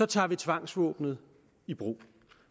tager vi tvangsvåbenet i brug